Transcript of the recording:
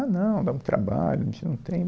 Ah, não, dá muito trabalho, a gente não tem.